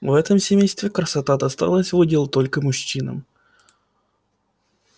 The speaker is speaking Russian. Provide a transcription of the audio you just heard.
в этом семействе красота досталась в удел только мужчинам